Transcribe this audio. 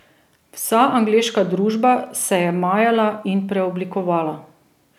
Vsa angleška družba se je majala in preoblikovala.